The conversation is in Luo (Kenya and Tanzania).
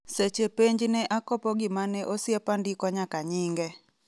Seche penj ne akopo gimane osiepandiko nyaka nyinge.